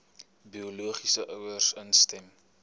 biologiese ouers instem